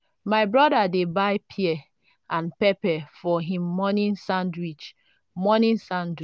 my brother dey buy pear and pepper for him morning sandwich.morning sandwich.